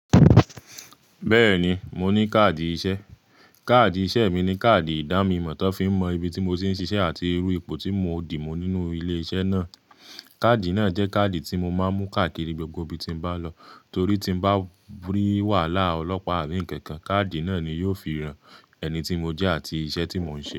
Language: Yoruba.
Bẹ́ẹ̀ni, mo ní káàdì iṣẹ́. Káàdì iṣẹ́ mi ni káàdì ìdánimọ̀ tan fi ń mọ ibi tí mo ti ń ṣiṣẹ́ àti irú ipò tí mo dì mu nínú ilé iṣẹ́ náà. Káàdì náà jẹ́ káàdì tí mo máa ń mú káàkiri gbogbo ibi tí n bá n lọ torí tí bá rí wàhálà ọlọ́pàá àbí ǹkankan, káàdì náà ni yóò fi hàn ẹni tí mo jẹ́ àti iṣẹ́ tí mò ń ṣe.